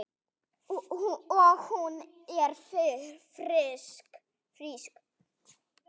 Og hún er frísk.